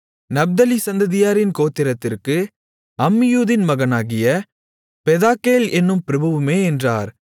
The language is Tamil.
நப்தலி சந்ததியாரின் கோத்திரத்திற்கு அம்மியூதின் மகனாகிய பெதாக்கேல் என்னும் பிரபுவுமே என்றார்